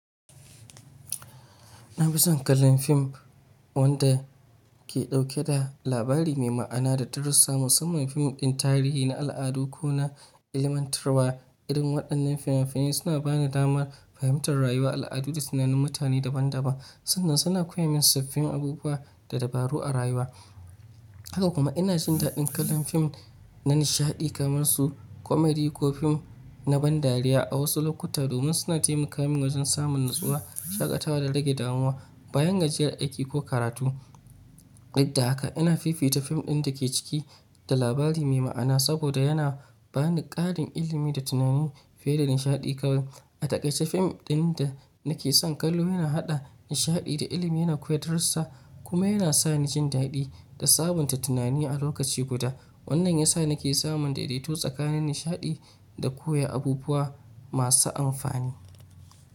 Na fi son kallon fim wanda ke dauke da labari mai ma'ana da darussa, musamman fim ɗin tarihi na al'adu ko na ilmantarwa. Irin waɗannan finafinai suna ba ni damar fahimtar rayuwa, al'adu da tunanin mutane daban-daban sannan suna koya min sabbin abubuwa da dabaru a rayuwa. Haka kuma ina jin daɗin kallon fim na nishaɗi kamar su komedi ko fim na ban dariya a wasu lokuta domin suna taimaka min wajen samun natsuwa, shaƙatawa da rage damuwa bayan gajiyar aiki ko karatu. Duk da haka ina fifita fim ɗin da ke ciki da labari mai ma'ana saboda yana ba ni ƙarin ilimi da tunani fiye da nishaɗi kawai. A takaice fim ɗin da nake son kallo yana haɗa nishaɗi da ilimi yana koya darussa kuma yana sa ni jin daɗi da sabunta tunani a lokaci guda. Wannan ya sa nake samun daidaito tsakanin nishaɗi da koya abubuwa masu amfani.